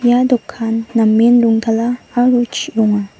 ia dokan namen rongtala aro chi·ronga